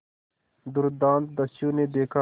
दुर्दांत दस्यु ने देखा